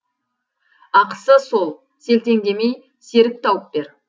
ақысы сол селтеңдемей серік тауып бер